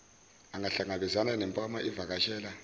angahlangabezani nempama izivakashela